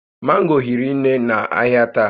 Mango hiri nne n'ahịa taa